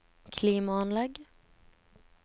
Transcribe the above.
klimaanlegg